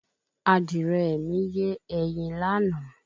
Adìrẹ mi yé ẹyin láàná